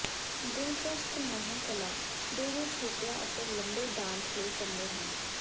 ਦਿਲਚਸਪ ਨਹੁੰ ਕਲਾ ਦੋਵੇਂ ਛੋਟੀਆਂ ਅਤੇ ਲੰਬੇ ਡਾਂਸ ਲਈ ਚੰਗੇ ਹਨ